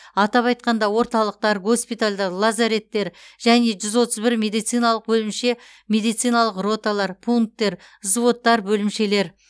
атап айтқанда орталықтар госпитальдар лазареттер және жүз отыз бір медициналық бөлімше медициналық роталар пункттер взводтар бөлімшелер